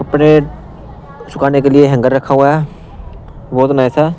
कपड़े सुखाने के लिए हैंगर रखा हुआ है बहुत नाथा।